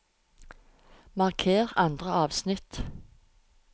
Marker andre avsnitt